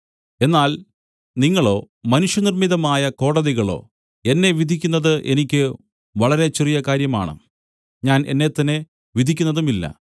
എന്നാൽ നിങ്ങളോ മനുഷ്യനിർമ്മിതമായ കോടതികളോ എന്നെ വിധിക്കുന്നത് എനിക്ക് വളരെ ചെറിയ കാര്യമാണ് ഞാൻ എന്നെത്തന്നെ വിധിക്കുന്നതുമില്ല